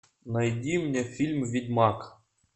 найди мне фильм ведьмак